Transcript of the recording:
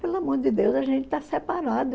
Pelo amor de Deus, a gente está separado.